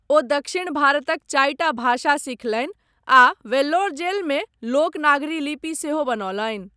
ओ दक्षिण भारतक चारिटा भाषा सीखलनि आ वेल्लोर जेलमे लोक नागरी लिपि सेहो बनौलनि।